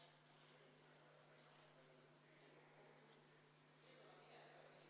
Hääletamiskastid on juba siin meie ees saalis.